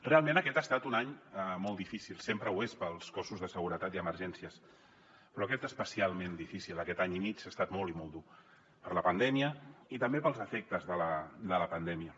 realment aquest ha estat un any molt difícil sempre ho és per als cossos de seguretat i emergències però aquest especialment difícil aquest any i mig ha estat molt i molt dur per la pandèmia i també pels efectes de la pandèmia